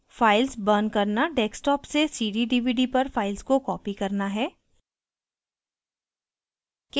files burning करना desktop से cd/dvd पर files को कॉपी करना है